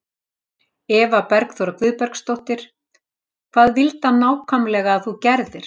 Eva Bergþóra Guðbergsdóttir: Hvað vildi hann nákvæmlega að þú gerðir?